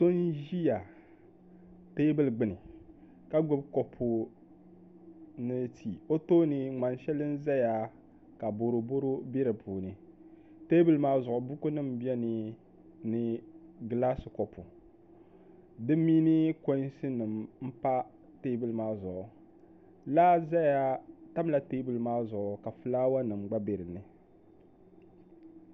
Paɣa n ʒi teebuli gbuni ka gbubi kopu mini tii o tooni ŋmani shɛli n ʒɛya ka boroboro bɛ di puuni teebuli maa zuɣu buku nim biɛni ni gilaasi kopu di mini konsi nim n pa teebuli maa zuɣu laa ʒɛya tamla teebuli maa zuɣu ka fulaawa nim gba nɛ dinni